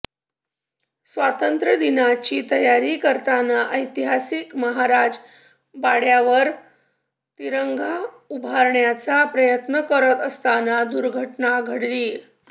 स्वातंत्र्यदिनाची तयारी करताना ऐतिहासिक महाराज बाड्यावर तिरंगा उभारण्याचा प्रयत्न करत असताना दुर्घटना घडलीय